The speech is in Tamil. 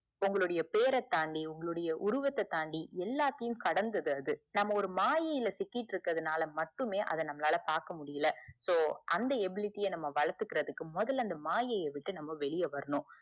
உங்களுடைய பேரதாண்டி உங்களுடைய உருவத்த தாண்டி எல்லாத்தையும் கடந்தது நம்ம ஒரு மாயில சிக்கிக்கிட்டு இருக்குறதனால மட்டுமே அத நம்மளால பாக்க முடியல so அந்த ebility அஹ் வளத்துக்குரதுக்கு முதல அந்த மாயிய விட்டு நம்ம வெளிய வரணும்